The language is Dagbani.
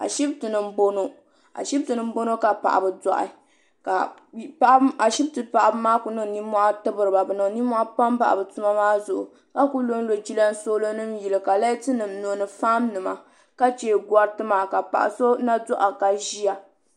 Ashiptini m boŋɔ ka paɣaba doaɣi ka ashipti paɣaba maa kuli niŋ ninmohi tibriba bɛ ninmohi pam bahi bɛ tuma maa zuɣu ka kuli lonlo jiransolo nima yili ka laati nima nyo ni fan nima ka che goriti maa ka paɣa so na doaɣi ka ʒia.